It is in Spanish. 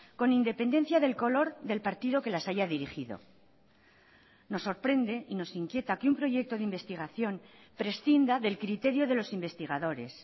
con independencia del color del partido que las haya dirigido nos sorprende y nos inquieta que un proyecto de investigación prescinda del criterio de los investigadores